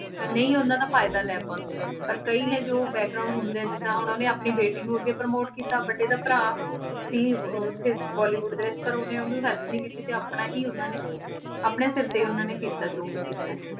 ਅਹ ਨਹੀਂ ਉਹਨਾਂ ਦਾ ਫ਼ਾਇਦਾ ਲੈ ਪਾਉਂਦੇ, ਪਰ ਕਈ ਨੇ ਜੋ ਹੁੰਦੇ ਆ, ਜਿੱਦਾਂ ਹੁਣ ਉਹਨੇ ਆਪਣੀ ਬੇਟੀ ਨੂੰ ਅੱਗੇ promote ਕੀਤਾ but ਇਹਦਾ ਭਰਾ ਸੀ ਉੱਥੇ ਬੋਲੀਵੁਡ ਦੇ ਵਿੱਚ ਪਰ ਉਹਨੇ ਉਹਨੂੰ help ਨੀ ਕੀਤੀ ਤੇ ਆਪਣਾ ਹੀ ਉਹਨਾਂ ਨੇ ਆਪਣੇ ਸਿਰ ਤੇ ਹੀ ਉਹਨਾਂ ਨੇ ਕੀਤਾ ਜੋ ਵੀ ਕੀਤਾ ਹੈ।